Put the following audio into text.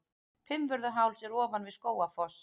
Fimmvörðuháls er ofan við Skógafoss.